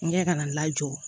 N kɛ kana n lajɔ